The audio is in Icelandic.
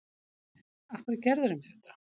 Af hverju gerðirðu mér þetta?